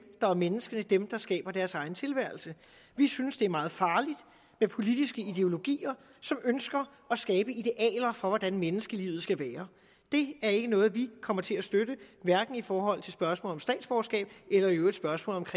der er menneskene dem der skaber deres egen tilværelse vi synes det er meget farligt med politiske ideologier som ønsker at skabe idealer for hvordan menneskelivet skal være det er ikke noget vi kommer til at støtte hverken i forhold til spørgsmålet om statsborgerskab eller i øvrigt spørgsmålet